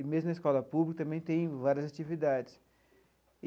E mesmo na escola pública também tem várias atividades.